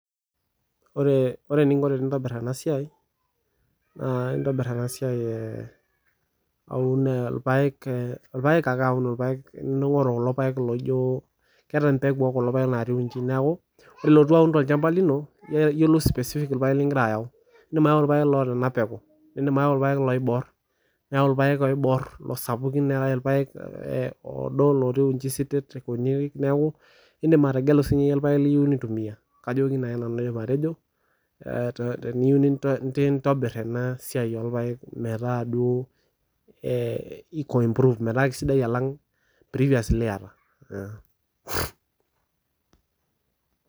Ore, ore niinkoo tinitobir ena siai naa itobiir ena siai auun lpaek, lpaek ake auun lpaek ning'oruu kuloo lpaek loijoo keeta mbeguu e kuloo lpaek natiiwuejii, naake elotuu auun te lchambaa linoo naa eloo specific lpaek loigira ayau. Idiim ayau lpaek loipekuu, idiim ayau lpaek oiboor, niyau lpaek oiboor sapuki, niyau lpaek ee loidoo ng'otoi wueji sitetet kunii. Naaku idiim ateng'eluu sii inyee lpaek niyeu nituumia. Kajoo naa nanu nenia aidiim atejoo tiniyeu niintobir ena siai e lpaek metaa adoo iko improved metaa esidai alang' tirigas lieta.